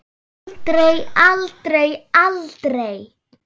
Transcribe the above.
Aldrei, aldrei, aldrei!